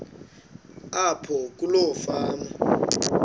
apho kuloo fama